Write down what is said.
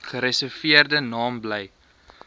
gereserveerde naam bly